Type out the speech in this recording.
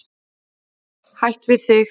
Hætt við þig.